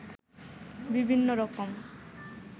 বিভিন্ন রকম